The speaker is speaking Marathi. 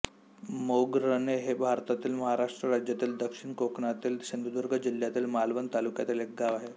मोगरणे हे भारतातील महाराष्ट्र राज्यातील दक्षिण कोकणातील सिंधुदुर्ग जिल्ह्यातील मालवण तालुक्यातील एक गाव आहे